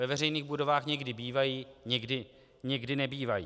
Ve veřejných budovách někdy bývají, někdy nebývají.